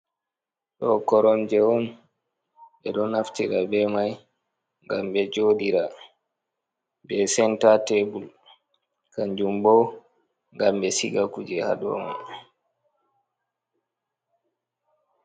Ɗo koromje on. Ɓe ɗo naftira be mai ngam ɓe jooɗira, be senta tebur, kanjum bo ngam ɓe siga kuje haa dow mai.